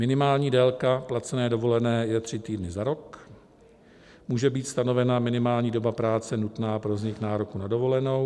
Minimální délka placené dovolené je tři týdny za rok, může být stanovena minimální doba práce nutná pro vznik nároku na dovolenou.